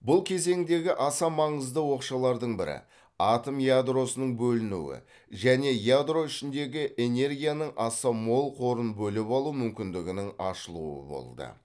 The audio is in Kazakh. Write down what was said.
бұл кезеңдегі аса маңызды оқшалардың бірі атом ядросының бөлінуі және ядро ішіндегі энергияның аса мол қорын бөліп алу мүмкіндігінің ашылуы болды